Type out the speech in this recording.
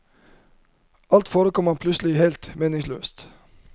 Alt forekommer ham plutselig helt meningsløst.